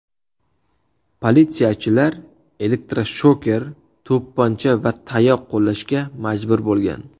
Politsiyachilar elektroshoker, to‘pponcha va tayoq qo‘llashga majbur bo‘lgan.